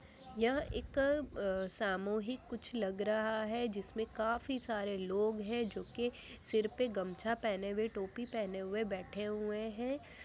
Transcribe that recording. ये एक सामोहिक कुछ लग रहा है जिसमें काफी सारे लोग हैं जोकि सिर पे गमछा पहने हुए टोपी पहने हुए बैठे हुए हैं।